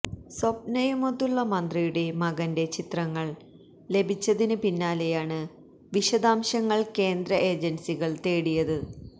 സ്വപ്നയുമൊത്തുള്ള മന്ത്രിയുടെ മകന്റെ ചിത്രങ്ങള് ലഭിച്ചതിന് പിന്നാലെയാണ് വിശദാംശങ്ങൾ കേന്ദ്ര ഏജൻസികൾ തേടിയത്